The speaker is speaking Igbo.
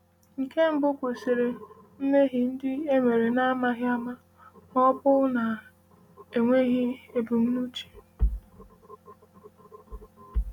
Nke mbụ kwụsịrị mmehie ndị e mere n’amaghị ama ma ọ bụ na-enweghị ebumnuche.